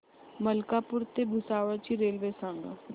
मलकापूर ते भुसावळ ची रेल्वे सांगा